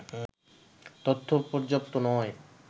তথ্য পর্যাপ্ত নয়